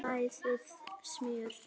Bræðið smjör.